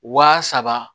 Waa saba